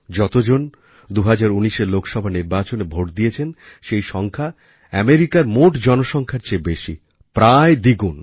যতজন ২০১৯এর লোকসভা নির্বাচনে ভোট দিয়েছেন সেই সংখ্যা আমেরিকার মোট জনসংখ্যার চেয়ে বেশি প্রায় দ্বিগুণ